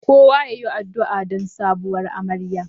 Kowa yayi adu'a don sabuwar amarya.